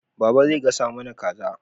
Baba zai gasa mana kaza